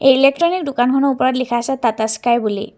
Electronic দোকানখনৰ ওপৰত লিখা আছে টাটা স্কাই বুলি।